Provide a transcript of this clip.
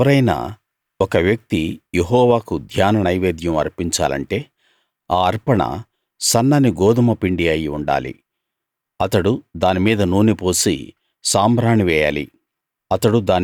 ఎవరైనా ఒక వ్యక్తి యెహోవాకు ధాన్య నైవేద్యం అర్పించాలంటే ఆ అర్పణ సన్నని గోదుమ పిండి అయి ఉండాలి అతడు దాని మీద నూనె పోసి సాంబ్రాణి వేయాలి